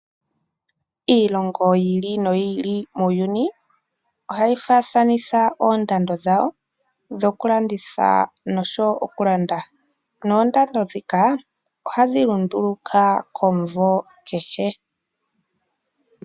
Iilongo yi ili noyi ili muuyuni ohayi faathanitha oondando dhayo dhoku landitha nosho wo oku landa. Noondando ndhika ohadhi lunduluka komumvo kehe.